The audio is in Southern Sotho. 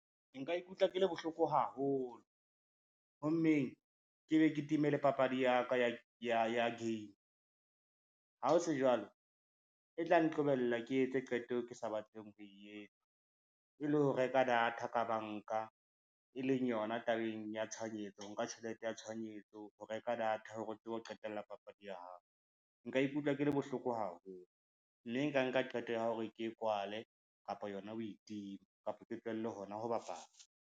Nka ikutlwa ke le bohloko haholo, hommeng ke be ke time le papadi ya game. Ha ho se jwalo, e tla nqobella ke etse qeto eo ke sa batleng ho e etsa, e le ho reka data ka banka, e leng yona tabeng ya tshohanyetso, ho nka tjhelete ya tshohanyetso ho reka data hore re tsebe ho qetella papadi ya hao. Nka ikutlwa ke le bohloko haholo, mme nka nka qeto ya hore ke e kwale kapa yona ho e tima kapa ke tlohelle hona ho bapala.